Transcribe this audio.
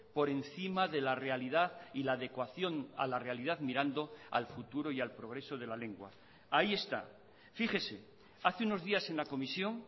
por encima de la realidad y la adecuación a la realidad mirando al futuro y al progreso de la lengua ahí está fíjese hace unos días en la comisión